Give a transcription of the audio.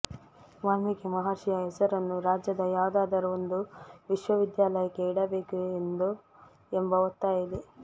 ವಾಲ್ಮೀಕಿ ಮಹರ್ಷಿಯ ಹೆಸರನ್ನು ರಾಜ್ಯದ ಯಾವುದಾದರೂ ಒಂದು ವಿಶ್ವವಿದ್ಯಾಲಯಕ್ಕೆ ಇಡಬೇಕು ಎಂಬ ಒತ್ತಾಯ ಇದೆ